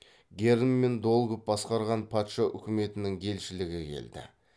герн мен долгов басқарған патша үкіметінің елшілігі келді